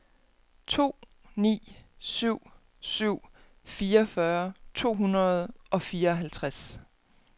to ni syv syv fireogfyrre to hundrede og fireoghalvtreds